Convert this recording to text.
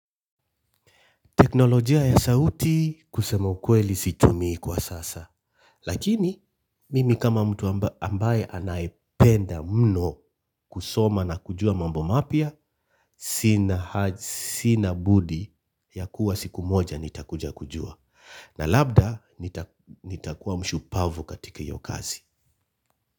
Teknolojia ya sauti kusema ukweli situmii kwa sasa. Lakini, mimi kama mtu ambaye anayependa mno kusoma na kujua mambo mapya, sina budi ya kuwa siku moja nitakuja kujua. Na labda, nitakuwa mshupavu katika hiyo kazi.